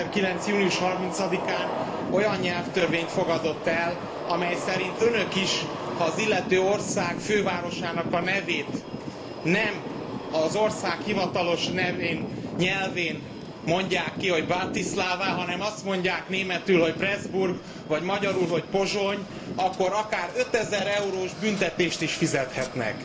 2009. június 30 án olyan nyelvtörvényt fogadott el, amely szerint önök is, ha az illető ország fővárosának a nevét nem az ország hivatalos nyelvén mondják ki, hogy Bratislava, hanem azt mondják németül, hogy Presburg vagy magyarul, hogy Pozsony, akkor akár 5000 eurós büntetést is fizethetnek.